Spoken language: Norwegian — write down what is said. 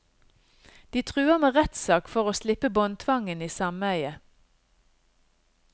De truer med rettssak for å slippe båndtvangen i sameiet.